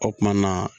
O kumana